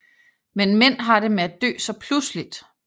Men mænd har det med at dø så pludseligt